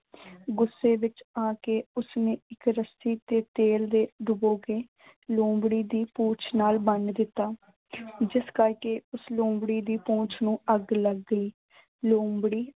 ਗੁੱਸੇ ਵਿੱਚ ਆ ਕੇ ਉਸਨੇ ਇੱਕ ਰੱਸੀ ਤੇ ਤੇਲ ਦੇ ਡੁਬੋ ਕੇ ਲੋਮੜੀ ਦੀ ਪੂੰਛ ਨਾਲ ਬੰਨ੍ਹ ਦਿੱਤਾ। ਜਿਸ ਕਰਕੇ ਉਸ ਲੋਮੜੀ ਦੀ ਪੂੰਛ ਨੂੰ ਅੱਗ ਲੱਗ ਗਈ। ਲੋਮੜੀ